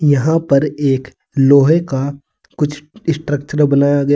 यहां पर एक लोहे का कुछ स्ट्रक्चर बनाया गया--